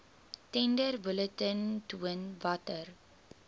tenderbulletin toon watter